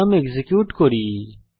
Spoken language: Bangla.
প্রোগ্রাম এক্সিকিউট করি